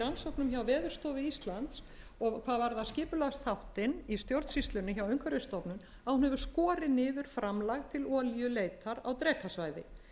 rannsóknum hjá veðurstofu íslands og hvað varðar skipulagsþáttinn í stjórnsýslunni hjá umhverfisstofnun að hún hefur skorið niður framlag til olíuleitar á drekasvæði